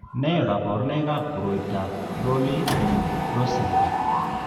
Nee kabarunoikab koroitoab Rowley Rosenberg?